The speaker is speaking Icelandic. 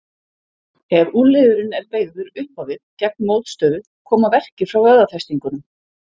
Ef úlnliðurinn er beygður upp á við gegn mótstöðu koma verkir frá vöðvafestingunum.